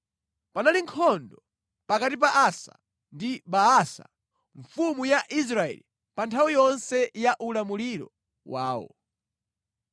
Panali nkhondo pakati pa Asa ndi Baasa mfumu ya Israeli pa nthawi yonse ya ulamuliro wawo.